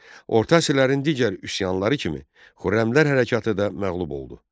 Orta əsrlərin digər üsyanları kimi, Xürrəmilər hərəkatı da məğlub oldu.